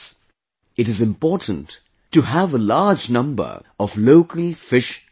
It is important to have a large number of local fish species